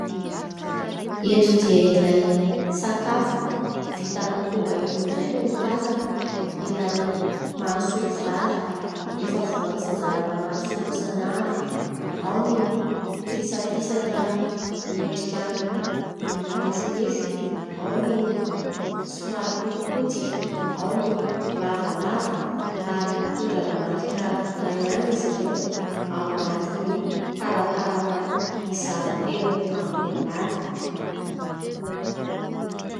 Eto dia ilay sakafo vita amin'ny koba irony indray no tazana. Ilay mahasolo vary efa voatsinjara ao anaty fonosana avy : ao ny fisapisaka miendrika manifinify, ao ny somary potipotika, ao ny lavalava, ary mitondra ny marika iray ihany izy ireo ; ao anatiny talantalana mizara telo ambony ambany.